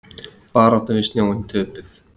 Baráttan við snjóinn töpuð